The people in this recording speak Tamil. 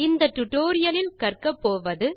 இந்த டியூட்டோரியல் கற்கப்போவது